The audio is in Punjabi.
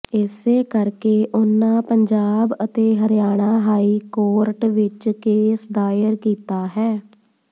ਇਸੇ ਕਰਕੇ ਉਨ੍ਹਾਂ ਪੰਜਾਬ ਅਤੇ ਹਰਿਆਣਾ ਹਾਈ ਕੋਰਟ ਵਿਚ ਕੇਸ ਦਾਇਰ ਕੀਤਾ ਹੈ